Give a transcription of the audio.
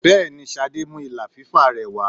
Bẹẹni, Ṣadé mú ìlà fífà rẹ wà.